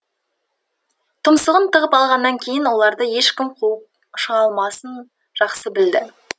тұмсығын тығып алғаннан кейін оларды ешкім қуып шыға алмасын жақсы білді